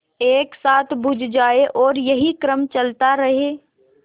एक साथ बुझ जाएँ और यही क्रम चलता रहे